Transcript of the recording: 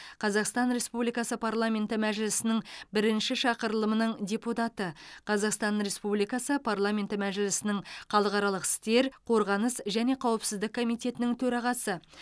қазақстан республикасы парламенті мәжілісінің бірінші шақырылымының депутаты қазақстан республикасы парламенті мәжілісінің халықаралық істер қорғаныс және қауіпсіздік комитетінің төрағасы